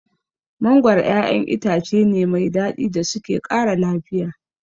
Mangoro ƴaƴan itace ne mai daɗi da suke ƙara lafiya.